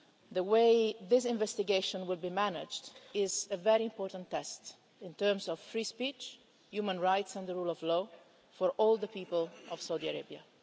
The way this investigation is managed is a very important test in terms of free speech, human rights and the rule of law for all the people of Saudi Arabia.